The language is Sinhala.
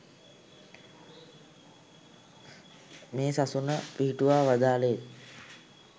මේ සසුන පිහිටුවා වදාළේත්